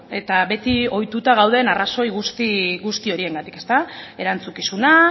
bueno eta beti ohituta gauden arrazoi guzti horiengatik erantzukizuna